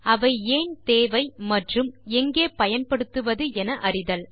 அவை ஏன் தேவை மற்றும் எங்கே பயன்படுத்துவது என அறிதல்